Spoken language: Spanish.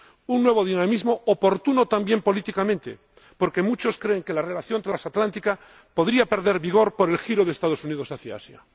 Un nuevo dinamismo oportuno también políticamente, porque muchos creen que la relación transatlántica podría perder vigor por el giro de los Estados Unidos hacia Asia.